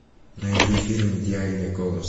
найди фильм идеальный голос